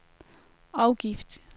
afgift